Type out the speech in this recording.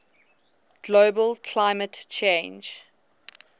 global climate change